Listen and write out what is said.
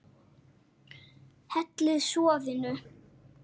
Hellið soðinu.